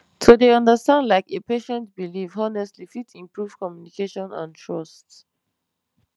to dey understand like a patient belief honestly fit improve communication and trust